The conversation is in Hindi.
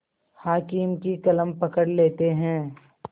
हाकिम की कलम पकड़ लेते हैं